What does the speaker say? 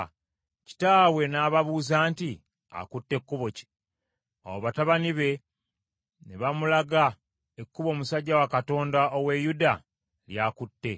Kitaabwe n’ababuuza nti, “Akutte kkubo ki?” Awo batabani be ne bamulaga ekkubo omusajja wa Katonda ow’e Yuda ly’akutte.